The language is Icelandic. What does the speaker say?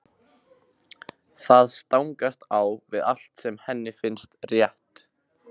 Það stangast á við allt sem henni finnst rétt.